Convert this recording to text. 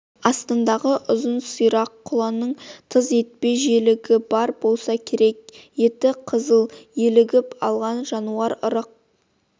астындағы ұзын сирақ құланың тыз етпе желігі бар болса керек еті қызып елігіп алған жануар ырық